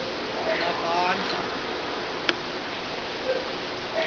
navandla